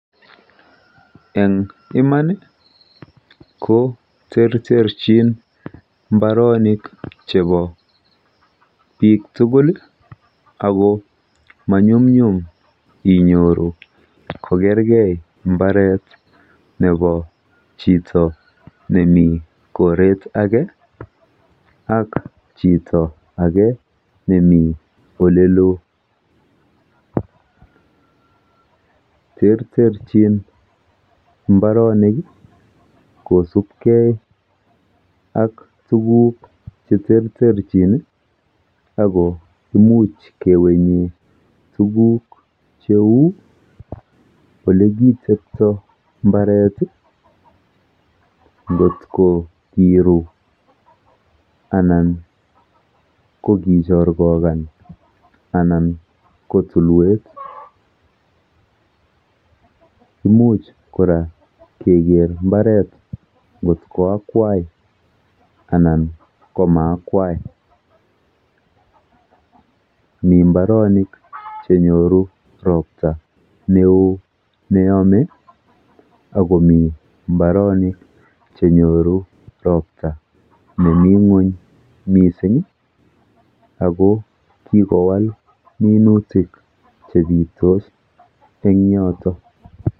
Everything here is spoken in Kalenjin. Eng iman ko terterchin mbaronik chepo biik tugul ako manyumnyum inyoru kokergei mbaret nepo chito nemi koret ake ak chito ake nemi oleloo. Terterchin mbaronik kosubkei ak tuguk cheterterchin ako imuch kewenye tuguk cheu olekitepto mbaret nkot ko kiru anan ko kichorkokan anan ko tulwet. Imuch kora keker mbaret nkot ko akwai anan ko maakwai, mi mbaronik chenyoru ropta neo neyome akomi mbaronik chenyoru ropta nemi ng'uny mising ako kikowal minutik chepitos eng yoto.